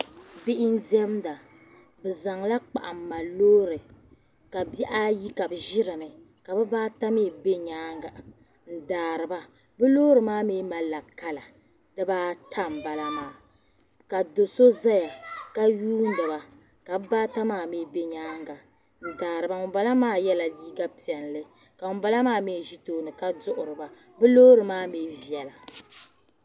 Bihi n demda bɛ zaŋla kpahi n mali lɔɔri. bihi ayi ka bɛ ʒi dini. ka bihi ata mi be nyaaŋa n daariba , bɛ lɔɔri maa mi kala dibaata n bala maa ka do' so ʒaya ka yuuniba, ka bihi ata maa mi be nyaaŋa, n daari ba ŋun bala maa yela liiga piɛli. ka ŋun bala mi ʒi tooni ka duhiri a, bɛlɔɔri maa mi bela.